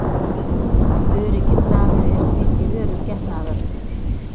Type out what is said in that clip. Öruggir dagar eru því ekki örugg getnaðarvörn.